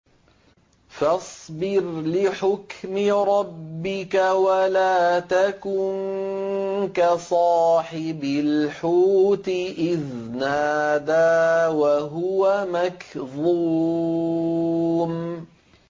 فَاصْبِرْ لِحُكْمِ رَبِّكَ وَلَا تَكُن كَصَاحِبِ الْحُوتِ إِذْ نَادَىٰ وَهُوَ مَكْظُومٌ